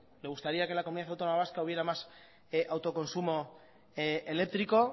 le gustaría que en la comunidad autónoma vasca hubiera más autoconsumo eléctrico